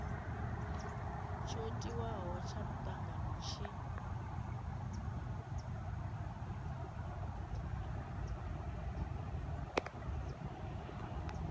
tsho tiwaho tsha mutangano tshi